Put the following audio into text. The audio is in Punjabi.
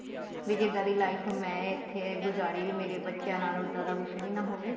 ਬੀ ਜਿੱਦਾਂ ਦੀ life ਮੈਂ ਇਥੇ ਗੁਜਰੀ ਵੀ ਮੇਰੇ ਬੱਚਿਆਂ ਨਾਲ ਉੱਦਾਂ ਦਾ ਕੁੱਝ ਵੀ ਨਾ ਹੋਵੇ